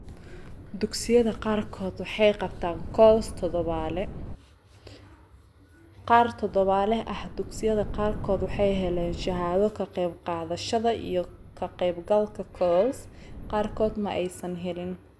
Dugsiyada qaarkood waxay qabtaan CoLs toddobaadle, qaar toddobaadle ah; Dugsiyada qaarkood waxay heleen shahaado ka qaybqaadashada iyo ka qaybgalka CoLs, qaarkood ma aysan helin.